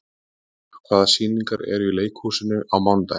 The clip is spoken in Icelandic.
Boghildur, hvaða sýningar eru í leikhúsinu á mánudaginn?